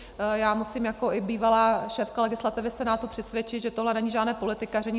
Já musím jako i bývalá šéfka legislativy Senátu přesvědčit, že tohle není žádné politikaření.